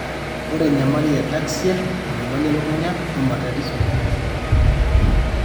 ore enyamali e ataxia, enyamali elukunya,o matatizo enkiroroto.